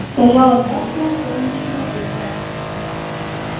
стояло ясное солнечное утро